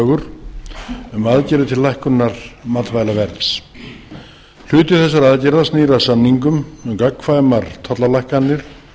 tillögur um aðgerðir til lækkunar matvælaverðs hluti þessara aðgerða snýr að samingum um gagnkvæmar tollalækkanir